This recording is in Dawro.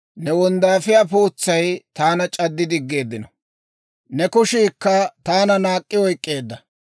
Ne wonddaafiyaa pootsay taana c'addi diggeeddino; ne kushiikka taana naak'k'i oyk'k'eedda.